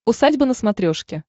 усадьба на смотрешке